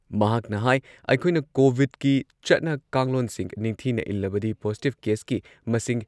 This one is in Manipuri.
ꯃꯍꯥꯛꯅ ꯍꯥꯏ ꯑꯩꯈꯣꯏꯅ ꯀꯣꯚꯤꯗꯀꯤ ꯆꯠꯅ ꯀꯥꯡꯂꯣꯟꯁꯤꯡ ꯅꯤꯡꯊꯤꯅ ꯏꯜꯂꯕꯗꯤ ꯄꯣꯖꯤꯇꯤꯚ ꯀꯦꯁꯀꯤ ꯃꯁꯤꯡ